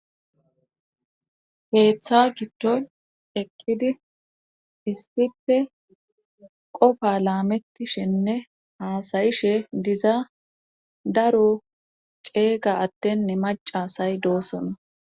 Keeththa giddon eqqidi isipe qofa laametishenne haasayishe diza daro ceeyga adenne maca asay doosona